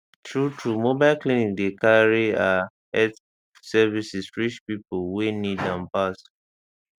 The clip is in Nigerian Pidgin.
truetrue mobile clinic dey carry ah health service reach pipo wey need am pass